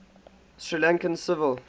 sri lankan civil